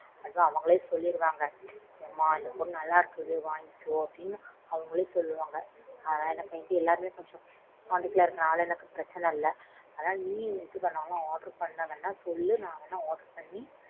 அப்போ அவங்களே சொல்லிடுவாங்க எம்மா இந்த பொருள் நல்லா இருக்குது வாங்கிக்கோ அப்படின்னு அவங்களே சொல்வாங்க எல்லாருமே கொஞ்சம் contact ல இருக்கிறதுனால பிரச்சினை இல்ல அதனால நீயும் எதாவது order பண்ணணும்னா சொல்லு நான் வேணா order பண்ணி.